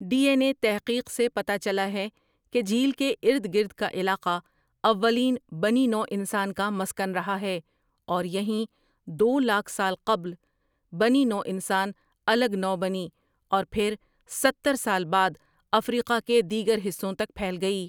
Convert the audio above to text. D N A تحقیق سے پتہ چلا ہے کہ جھیل کے اردگرد کا علاقہ اولین بنی نوع انسان کا مسکن رہا ہے اور یہیں دو لاکھ سال قبل بنی نوع انسان الگ نوع بنی اور پھرستہر سال بعد افریقہ کے دیگر حصوں تک پھیل گئی۔